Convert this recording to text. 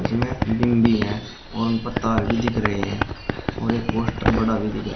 इनमें बीम भी है और ऊपर तार भी दिख रहे हैं और एक पोस्टर बड़ा भी दिख रहा --